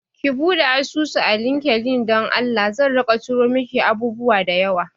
Ki buɗe asusu a LinkedIn don Allah, zan rika tura miki abubuwa da yawa